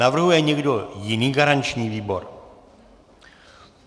Navrhuje někdo jiný garanční výbor?